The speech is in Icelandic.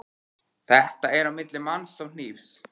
Þetta er á milli manns og hnífs.